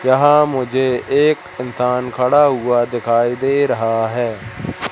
यहां मुझे एक इंसान खड़ा हुआ दिखाई दे रहा है।